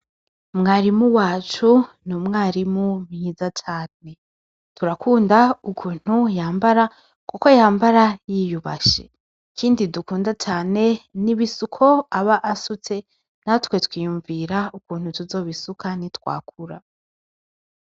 Mwarimu wacu, n'umwarimu mwiza cane, turakunda ukuntu yambara kuko yambara yiyubashe. Ikindi dukunda cane, n'ibisuko aba asutse, natwe twiyumvira ukuntu tuzobisuka nitwakura.